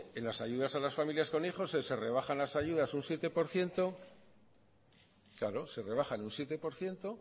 en las ayudas a las familias con hijos se rebajan las ayudas un siete por ciento claro se rebajan un siete por ciento